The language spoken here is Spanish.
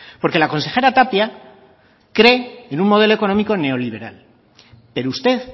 porque la consejera tapia cree en un modelo económico neoliberal pero usted